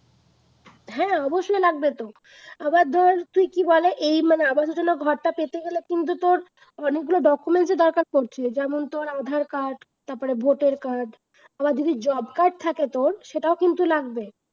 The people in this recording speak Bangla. হ্যাঁ অবশ্যই লাগবেতো। আবার ধর তুই কি বলে এই আবাস যোজনা ঘরটা পেতে গেলে কিন্তু তোর অনেকগুলো documents এর দরকার পড়ছে যেমন ধর তোর আধার card তারপরে ভোটার car আবার যদি job card থাকে তোর, সেটাও কিন্তু লাগবে।